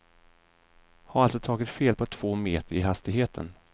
Har alltså tagit fel på två meter i hastigheten.